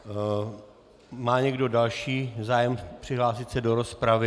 Má někdo další zájem přihlásit se do rozpravy?